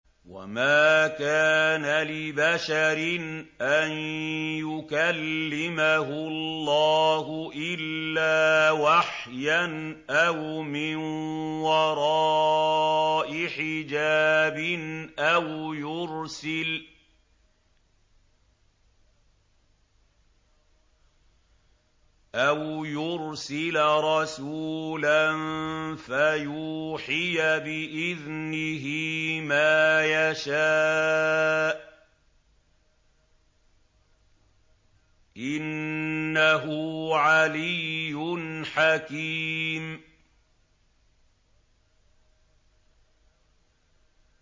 ۞ وَمَا كَانَ لِبَشَرٍ أَن يُكَلِّمَهُ اللَّهُ إِلَّا وَحْيًا أَوْ مِن وَرَاءِ حِجَابٍ أَوْ يُرْسِلَ رَسُولًا فَيُوحِيَ بِإِذْنِهِ مَا يَشَاءُ ۚ إِنَّهُ عَلِيٌّ حَكِيمٌ